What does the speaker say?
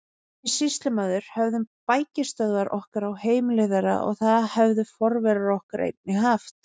Við sýslumaður höfðum bækistöðvar okkar á heimili þeirra og það höfðu forverar okkar einnig haft.